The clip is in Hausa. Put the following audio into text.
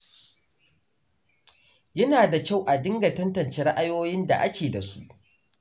Yana da kyau a dinga tantance ra’ayoyin da ake da su.